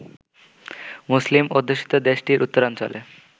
মুসলিম অধ্যুষিত দেশটির উত্তরাঞ্চলে